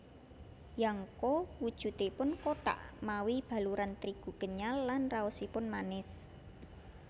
Yangko wujudipun kothak mawi baluran trigu kenyal lan raosipun manis